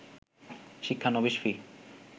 শিক্ষানবিস ফি